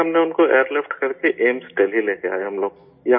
پھر ہم نے ان کو ایئرلفٹ کرکے ایمس دہلی لے کر آئے ہم لوگ